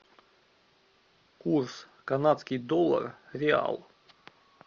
курс канадский доллар реал